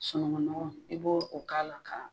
sunungun nɔgɔ i b'o o k'ala k'a